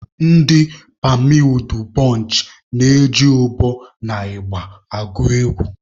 Ndị pammy udubonchị na-eji ụbọ na ịgba agụ egwu.